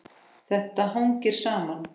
Þetta hangir saman.